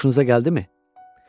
Xoşunuza gəldimi?